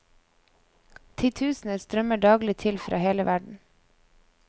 Titusener strømmer daglig til fra hele verden.